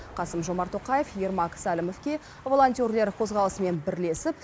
қасым жомарт тоқаев ермак сәлімовке волонтерлер қозғалысымен бірлесіп